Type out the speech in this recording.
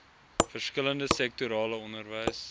verskillende sektorale onderwys